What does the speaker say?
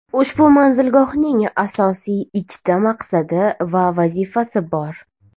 Ushbu manzilgohning asosiy ikkita maqsadi va vazifasi bor.